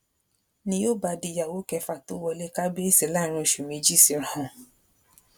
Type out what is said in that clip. ni yóò bá di ìyàwó kẹfà tó wọlé kábíyèsí láàrin oṣù méjì síra wọn